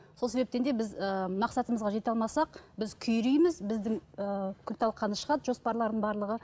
сол себептен де біз ы мақсатымызға жете алмасақ біз күйрейміз біздің ы күлталқаны шығады жоспарлардың барлығы